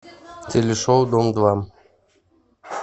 телешоу дом два